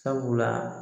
Sabula